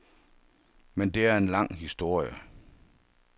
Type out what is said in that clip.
Men det er en lang historie.